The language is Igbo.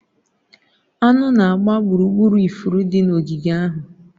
Anụ na-agba gburugburu ifuru dị n'ogige ahụ.